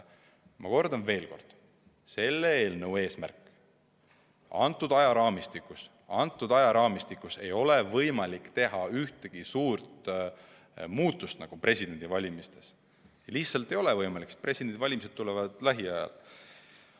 Ma kordan veel, et olemasolevas ajaraamistikus ei ole meil võimalik teha presidendivalimistes ühtegi suurt muudatust, lihtsalt ei ole võimalik, sest presidendivalimised on juba lähiajal.